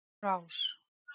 Tók á rás.